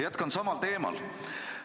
Jätkan samal teemal.